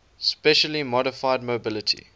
specially modified mobility